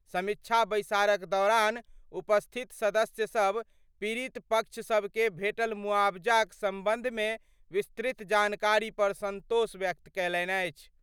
समीक्षा बैसारक दौरान उपस्थित सदस्य सभ पीड़ित पक्ष सभ के भेटल मुआवजाक संबंधमे विस्तृत जानकारी पर संतोष व्यक्त कयलनि।